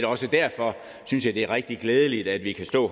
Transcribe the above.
også derfor synes jeg det er rigtig glædeligt at vi kan stå